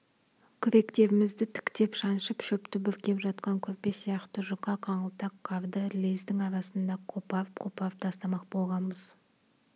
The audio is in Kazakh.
күректерімізді тіктеп шаншып шөпті бүркеп жатқан көрпе сияқты жұқа қаңылтақ қарды лездің арасында қопарып-қопарып тастамақ болғанбыз